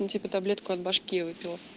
ну типа таблетку от башки выпила